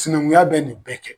Sinankunya bɛ nin bɛɛ kɛ.